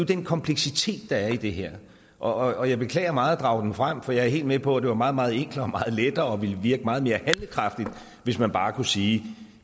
den kompleksitet der er i det her og jeg beklager meget at drage den frem for jeg er helt med på at det var meget meget enklere og lettere og ville virke meget mere handlekraftigt hvis man bare kunne sige